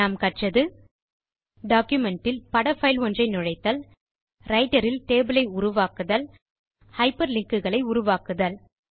நாம் கற்றது டாக்குமென்ட் இல் பட பைல் ஒன்றை நுழைத்தல் ரைட்டர் இல் டேபிள் ஐ உருவாக்குதல் ஹைப்பர்லிங்க் குகளை உருவாக்குதல்